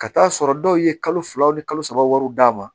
Ka taa'a sɔrɔ dɔw ye kalo fila ni kalo saba wari d'a ma